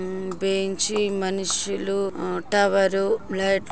ఉమ్ bench మనుషుల ఆ tower. లైట్లు --